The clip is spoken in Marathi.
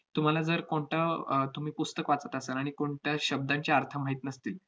तुम्हाला जर कोणतं अह तुम्ही पुस्तक वाचत असाल, आणि कोणत्या शब्दांचे अर्थ माहित नसतील,